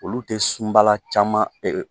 Olu tɛ sunbala caman